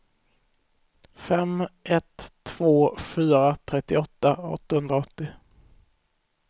fem ett två fyra trettioåtta åttahundraåttio